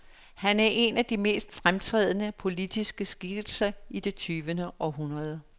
Han er en af de mest fremtrædende, politiske skikkelser i det tyvende århundrede.